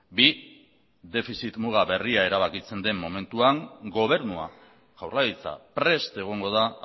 bi defizit muga berria erabakitzen den momentuan gobernua jaurlaritza prest egongo da